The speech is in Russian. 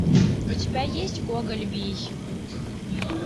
у тебя есть гоголь вий